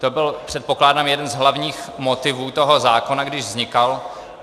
To byl, předpokládám, jeden z hlavních motivů toho zákona, když vznikal.